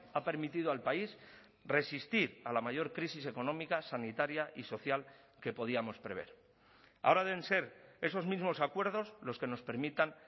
ha permitido al país resistir a la mayor crisis económica sanitaria y social que podíamos prever ahora deben ser esos mismos acuerdos los que nos permitan